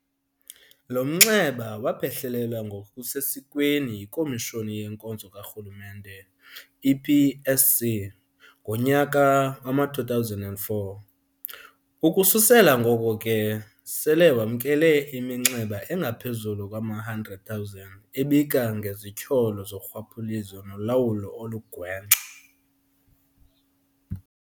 Lo mnxeba waphehlelelwa ngokusesikweni yiKomishoni yeNkonzo kaRhulumente, i-PSC, ngonyaka wama-2004, ukususela ngoko ke sele wamkele iminxeba engaphezulu kwama-100 000 ebika ngezityholo zorhwaphilizo nolawulo olugwenxa.